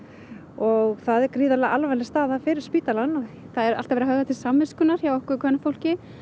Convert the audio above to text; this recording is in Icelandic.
og það er gríðarlega alvarleg staða fyrir spítalann það er alltaf verið að höfða til samviskunnar hjá okkur kvenfólki